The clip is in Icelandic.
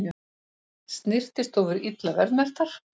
Snyrtistofur illa verðmerktar